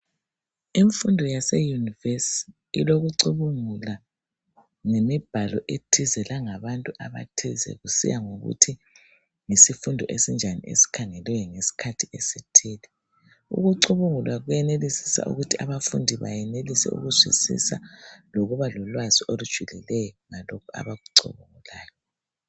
Imfundo yaseyunivesi ilokucubungula ngemibhalo ethize langabantu abathize, kusiya ngokuthi yizifundo esinjani esikhangelwe ngesikhathi esithile. Ukucubungula kwenelisisa ukuthi abafundi bayenelise ukuzwisisa lokuba lolwazi olujulileyo ngalokho abakucubungulayo.